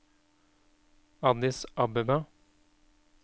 Addis Abeba